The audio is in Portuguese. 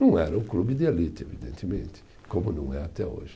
Não era um clube de elite, evidentemente, como não é até hoje.